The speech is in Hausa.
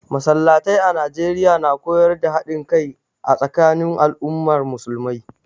Masallatai a Najeriya na koyar da haɗin kai a tsakanin al'ummar musulmai